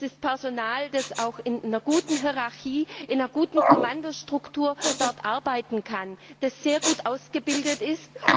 Das ist Personal, das auch in einer guten Hierarchie, in einer guten Kommandostruktur dort arbeiten kann und das sehr gut ausgebildet ist.